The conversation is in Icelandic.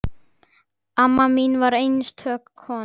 Amma mín var einstök kona.